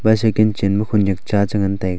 bicycle chenma khonyak cha chengan taiga.